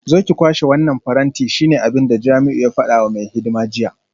Zo ki kwashe wannan faranti shine abinda Jamiu ya fada wa mai hidima jiya